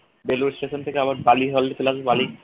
Belur station থেকে আবার বালির বালি